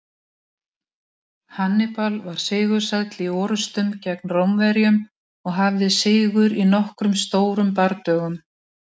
Hannibal var sigursæll í orrustum gegn Rómverjum og hafði sigur í nokkrum stórum bardögum.